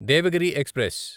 Devagiri express